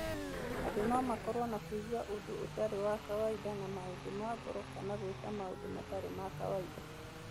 Andũ no makoro na kũigua ũndũ ũtarĩ wa kawaida na maũndũ ma ngoro kana gũika maũndũ matarĩ ma kawaida.